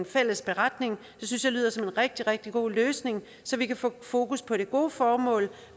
fælles beretning det synes jeg lyder som en rigtig rigtig god løsning så vi kan få fokus på det gode formål